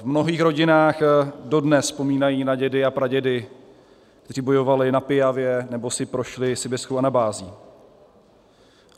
V mnohých rodinách dodnes vzpomínají na dědy a pradědy, kteří bojovali na Piavě nebo si prošli sibiřskou anabází.